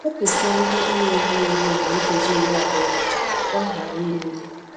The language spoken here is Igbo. Wepusịa nri a na-erighi eri mgbe nkeji iri abụọ gachara ka ọ ghara imebi.